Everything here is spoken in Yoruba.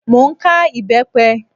Mo ń ká ìbẹ́pẹ